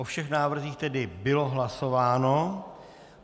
O všech návrzích tedy bylo hlasováno.